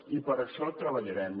i per a això treballarem